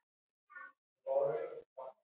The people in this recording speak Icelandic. Að minnsta kosti tvær okkar.